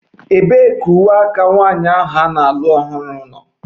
Ebee ka uwe nwanyị ahụ na-alụ ọhụrụ nọ?